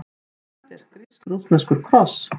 ALEXANDER: Grísk-rússneskur kross!